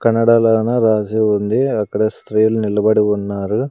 కన్నడలోన రాసి ఉంది అక్కడ స్త్రీలు నిలబడి ఉన్నారు.